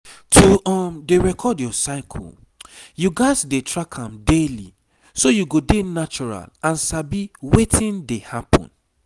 to um dey record your cycle you gats dey track am daily so you go dey natural and sabi wetin dey happen